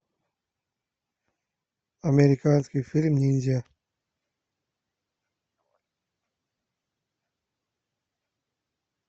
американский фильм ниндзя